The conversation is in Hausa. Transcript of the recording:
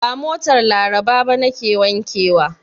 Ba motar Labara ba nake wankewa.